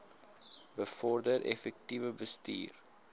bevorder effektiewe bestuur